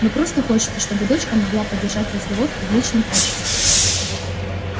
но просто хочется чтобы дочка могла поддержать разговор в приличном обществе